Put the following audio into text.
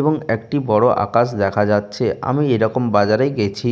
এবং একটি বড় আকাশ দেখা যাচ্ছে। আমি এরকম বাজারে গেছি।